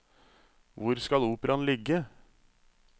Hvor skal operaen ligge?